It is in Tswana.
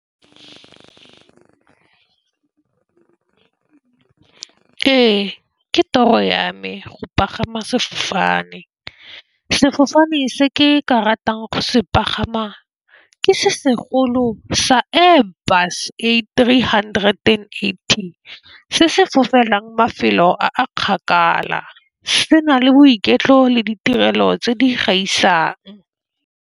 Ee, ke toro ya me go pagama sefofane. Sefofane se ke ka ratang go se pagama ke se segolo sa Airbus A380 se se fofelang mafelo a a kgakala, se na le boiketlo le ditirelo tse di gaisang.